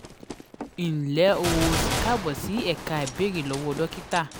nle o o si kaabo si eka "beere lowo dokita"